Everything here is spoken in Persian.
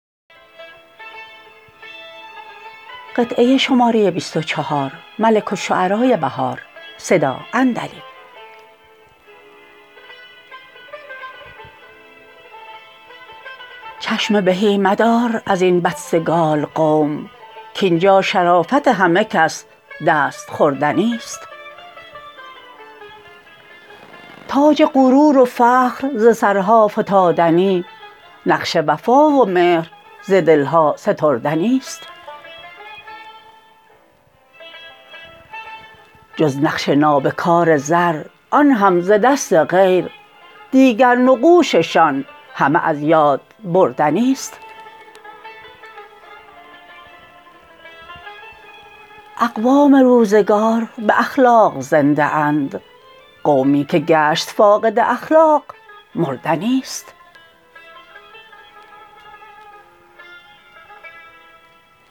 چشم بهی مدار از این بدسگال قوم کاینجا شرافت همه کس دست خوردنی است تاج غرور و فخر ز سرها فتادنی نقش وفا و مهر ز دل ها ستردنی است جز نقش نابکار زر آن هم ز دست غیر دیگر نقوششان همه از یاد بردنی است اقوام روزگار به اخلاق زنده اند قومی که گشت فاقد اخلاق مردنی است